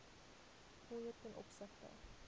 fooie ten opsigte